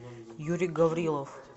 юрий гаврилов